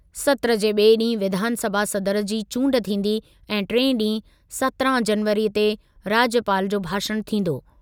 सत्रु जे ॿिएं ॾींहुं विधानसभा सदर जी चूंडु थींदी ऐं टिएं ॾींहुं सत्रहं जनवरीअ ते राज्यपालु जो भाषणु थींदो।